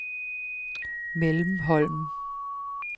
Mellemholm